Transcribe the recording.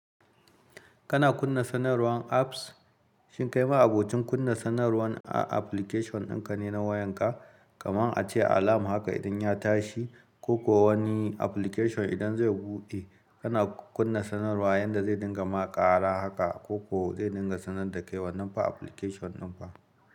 Kana kunna sanarwan apps? Shin kai ma'abocin kunna sanarwan a application ɗinka ne na wayanka? Kamar ace alam haka idan ya tashi, ko ko wani application idan zai buɗe, kana kunna sanarwa yanda zai dinga ma ƙara haka ko ko zai dinga sanar da kai wannan application dinka.